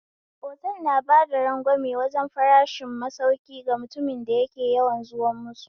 Otal na bada ragwame wajen farashin masauki ga mutumin da yake yawan zuwa musu